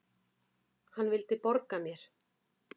Hann vildi borga mér!